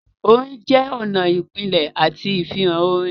Orin jẹ́ ọ̀nà ìpìlẹ̀ àti ìfihàn orin.